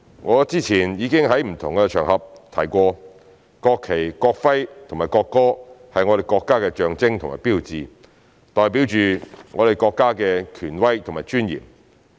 我之前已經在不同的場合提過，國旗、國徽和國歌是我們國家的象徵和標誌，代表着我們國家的權威和尊嚴。